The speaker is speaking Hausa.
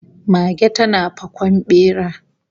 Mage tana fakon bera